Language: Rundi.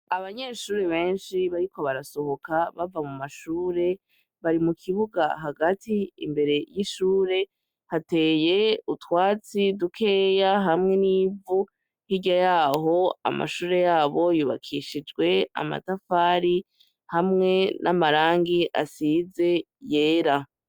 Abanyeshure benshi bariko barasohoka bava mu mashure bari mu kibuga hagati imbere y'ishure hateye utwatsi dukeya hamwe n'ivu hirya yaho amashure yabo yubakishijwe amatafari hamwe n'amarangi asizey era.